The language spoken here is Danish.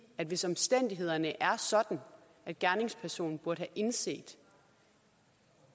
at hvis omstændighederne er sådan at gerningspersonen burde have indset